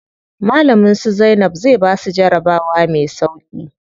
Malamin su Zainab ya basu jarabawa me sauƙi.